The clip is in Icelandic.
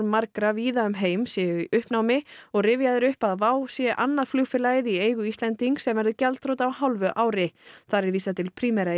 margra víða um heim séu í uppnámi og rifjað er upp að WOW sé annað flugfélagið í eigu Íslendings sem verður gjaldþrota á hálfu ári þar er vísað til Primera